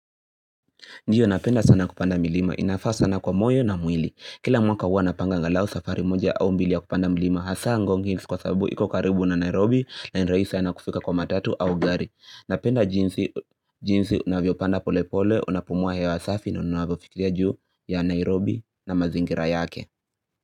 Ndio napenda sana kupanda milima, inafaa sana kwa moyo na mwili. Kila mwaka huwa napanga angalau safari moja au mbili ya kupanda milima hasa ngong hills kwa sababu iko karibu na Nairobi na ni rahisi sana kufika kwa matatu au gari. Napenda jinsi jinsi unavyo upanda pole pole, unapumua hewa safi na unavyo fikiria juu ya Nairobi na mazingira yake.